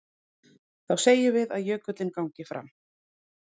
Þá segjum við að jökullinn gangi fram.